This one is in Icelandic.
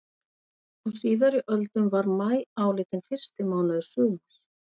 Á síðari öldum var maí álitinn fyrsti mánuður sumars.